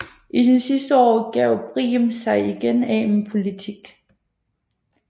I sine sidste år gav Briem sig igen af med politik